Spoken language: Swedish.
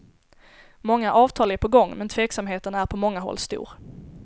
Många avtal är på gång, men tveksamheten är på många håll stor.